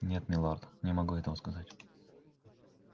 нет милорд не могу этого сказать